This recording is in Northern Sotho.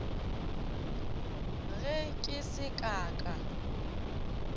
ge ke se ka ka